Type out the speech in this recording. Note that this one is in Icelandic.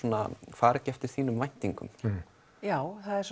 fari ekki eftir þínum væntingum já það er